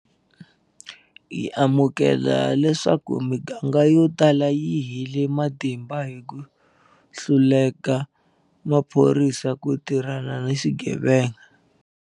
Hi amukela leswaku miganga yotala yi hele matimba hi ku hluleka ka maphorisa ku tirhana ni swigevenga.